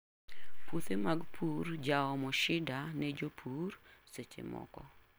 Puothe mag pur jaomo shida ne jopur secchemoko.